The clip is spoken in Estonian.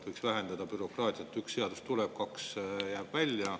Kui tuleb üks seadus, siis kaks jäävad välja.